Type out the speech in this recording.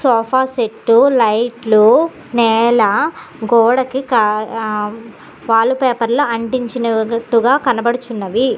Sofa set లైట్లు నేల గోడకి ఆ వాల్ పేపర్లు అంటించునట్టుగా కనపడుచున్నవి.